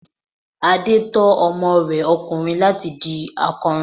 Adé tọ́ ọmọ rẹ ọkùnrin láti di akọrin.